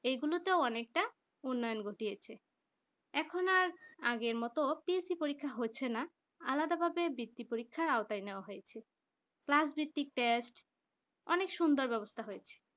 এগুলোতে অনেকটা উন্নয়ন ঘটিয়েছে এখন আর আগের মত TSC পরীক্ষা হচ্ছে না আলাদা হবে বৃত্তি পরীক্ষায় আওতা নেওয়া হয়েছে class ভিত্তিক test অনেক সুন্দর ব্যবস্থা হয়েছে।